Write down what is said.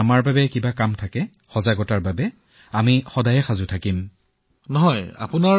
হয় হয় আমি যিটো কলনীত থাকো সেয়া অতিশয় পৰিষ্কাৰপৰিচ্ছন্ন কলনী আমি সকলোকে কৈছো যে আমি আহি গলো সেয়ে ভয় নাখাব